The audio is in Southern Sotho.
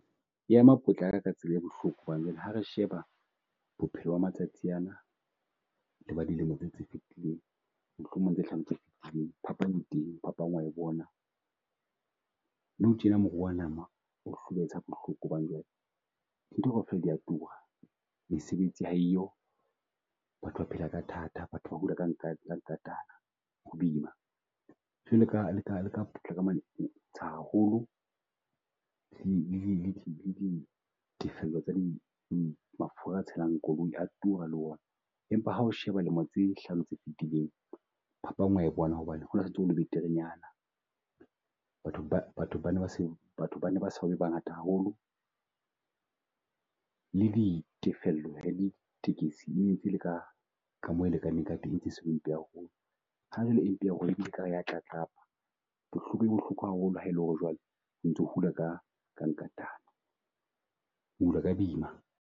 E ema potlaka ka tsela e bohloko hobane jwale ha re sheba bophelo ba matsatsi ana le ba dilemo tse tse fitileng mohlomong tse hlano tse fitileng. Phapang e teng phapang wa e bona. Nou tjena moruo wa nama o hlobahetsa bohloko hobane jwale ntho kaofela di a tura. Mesebetsi ha e yo, batho ba phela ka thata, batho ba hula ka ho boima Jwalo ka leka leka haholo le di le di le di tefello tsa di di mafura a tshelang koloi a tura le ona. Empa hao sheba lemo tse hlano tse fetileng, phapang wa bona hobane ho na le beterenyana. Batho ba batho ba ne batho ba ne ba so be bangata haholo. Le ditefello ditekesi e ne ntse e le ka ka moo e lekaneng ka teng, ntse se mpe haholo. e mpe haholo e bile e kare ya tlatlapa bohloko e bohloko haholo ha e lo re jwale ho ntso hula ka ka nka tana, o hula ka boima.